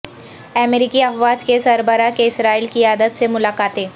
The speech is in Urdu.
امریکی افواج کے سربراہ کی اسرائیلی قیادت سے ملاقاتیں